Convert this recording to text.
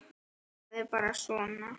Það er bara svona.